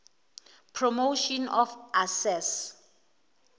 promotion of access